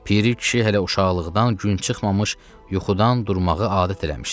Piri kişi hələ uşaqlıqdan gün çıxmamış yuxudan durmağı adət eləmişdi.